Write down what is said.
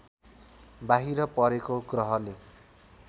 बाहिर परेको ग्रहले